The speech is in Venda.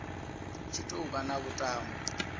tshi tou vha na vhuṱambo